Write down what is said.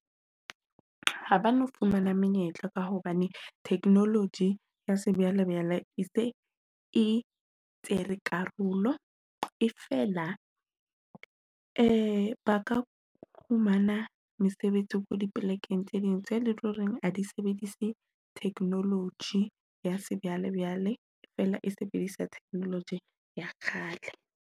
Ha ba no fumana menyetla ka hobane technology ya sejwalejwale e se e tsere, karolo e fela e ba ka fumana mesebetsi ko dipolekeng tse ding tse loreng ha di sebedise technology. Ya se bjale-bjale feela e sebedisa technology ya kgale.